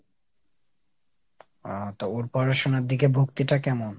আহ তো ওর পড়াশুনার দিকে ভক্তিটা কেমন ?